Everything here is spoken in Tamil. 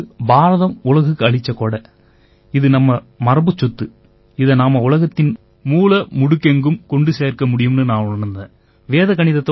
இந்தப் படிப்பு பாரதம் உலகுக்கு அளிச்ச கொடை இது நம்ம மரபுச்சொத்து இதை நாம உலகத்தின் மூலை முடுகெங்கும் கொண்டு சேர்க்க முடியும்னு நான் உணர்ந்தேன்